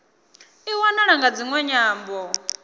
i wanala nga dziṅwe nyambo